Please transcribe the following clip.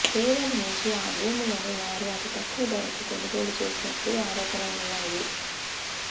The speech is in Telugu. పేదల నుంచి ఆ భూములను వారు అతి తక్కువ ధరకు కొనుగోలు చేసినట్లు ఆరోపణలున్నాయి